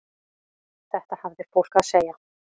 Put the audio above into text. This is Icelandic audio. Þetta hafði fólk að segja.